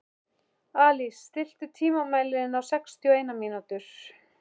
Alís, stilltu tímamælinn á sextíu og eina mínútur.